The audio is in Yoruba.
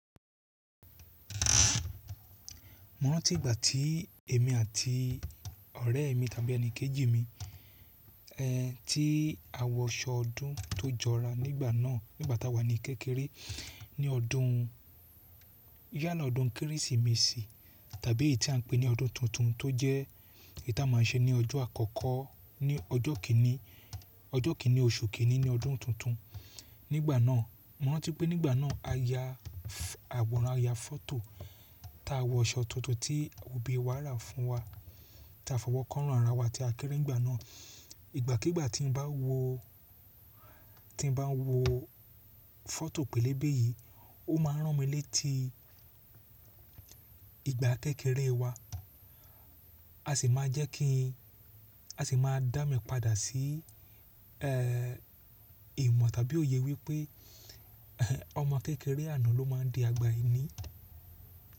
Mo rántí ìgbà tí èmi àti ọ̀rẹ́ mi tàbí ẹni kejì mi, eh, tí a wọ aṣọ ọdún tó jọra nígbà náà, nígbà táa wà ní kékeré ní ọdún, yala ọdún Kérésìmesì tàbí èyí tí à ń pè ní ọdún tuntun tó jẹ́ ta màa ń ṣe ní ọjọ́ àkọ́kọ́ ní ọjọ́ kìíní, ọjọ́ kìíní oṣù kìíní ní ọdún tuntun. Nígbà náà, mo rántí pé nígbà náà a ya, àwòrán, a ya fọ́tò ta wọ aṣọ tuntun tí òbí wà ra fún wa tí a fọwọ́ ko orun ara wa tí a kéré nígbà náà. Ìgbà kigbà tí n bá wo, tí n bá wo fọ́tò pélébé yìí, ó máa ń rán mi létí ìgbà kékeré wa, a sì máa jẹ́ kí n, a sì máa dá mi padà sí, ẹ, ìmọ̀ tàbí òye wípé ọmọ kékeré àná ló máa ń di àgbà ẹni.